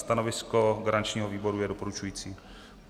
Stanovisko garančního výboru je doporučující.